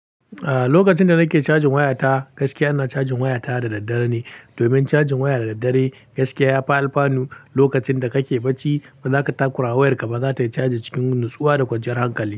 A'a, lokacin da nake cajin wayata, gaskiya ina cajin wayata da daddare ne. Domin cajin waya da daddare, gaskiya ya fi alfanu lokacin da kake bacci, ba za ka takura wayarka ba, za ta yi caji cikin natsuwa da kwanciyar hankali.